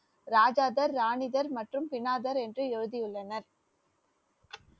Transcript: ராஜாதார், ராணிதர் மற்றும் பினாதர் என்று எழுதியுள்ளனர்